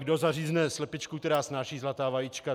Kdo zařízne slepičku, která snáší zlatá vajíčka?